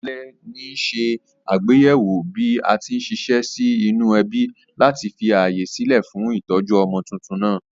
Alè ní se àgbéyéwò bí atí n siṣẹ́ sí nínú ẹbí láti fi ààyè sílè fún ìtójú ọmọ tuntun nàá